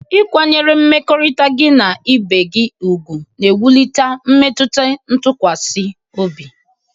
Ịkwanyere mmekọrịta gị na ibe gị ùgwù na-ewulite mmetụta ntụkwasị obi